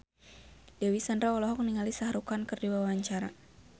Dewi Sandra olohok ningali Shah Rukh Khan keur diwawancara